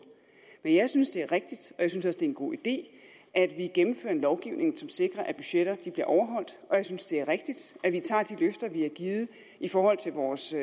men jeg synes at det er rigtigt og jeg synes det en god idé at vi gennemfører en lovgivning som sikrer at budgetter bliver overholdt og jeg synes at det er rigtigt at vi tager de løfter vi har givet i forhold til vores